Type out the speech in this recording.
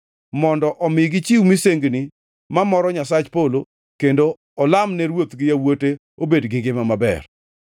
mondo omi gichiw misengini ma moro Nyasach polo kendo olam ne ruoth gi yawuote obed gi ngima maber.